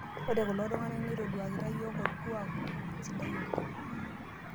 ore kulo tung'anak neitoduakita iyiook olkuak sidai oleng'